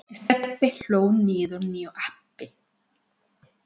Stebbi hlóð niður nýju appi.